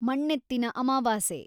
ಮಣ್ಣೆತ್ತಿನ ಅಮವಾಸೆ